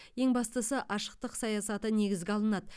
ең бастысы ашықтық саясаты негізге алынады